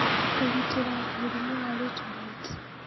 Kũgitĩra mũrimũ wa late blight